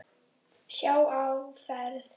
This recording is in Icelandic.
Sjá áferð.